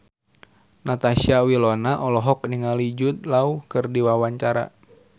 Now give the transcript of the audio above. Natasha Wilona olohok ningali Jude Law keur diwawancara